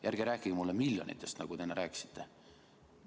Ja ärge rääkige mulle miljonitest, nagu te enne rääkisite.